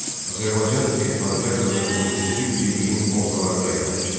Azərbaycan Elxanilər dövləti 13-cü yüzilliyin ortalarında yaranmışdı.